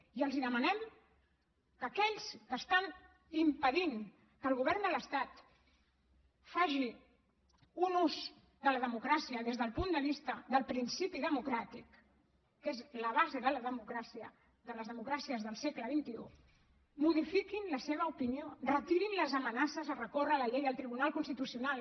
i els demanem que aquells que estan impedint que el govern de l’estat faci un ús de la democràcia des del punt de vista del principi democràtic que és la base de la democràcia de les democràcies del segle xxices de recórrer la llei al tribunal constitucional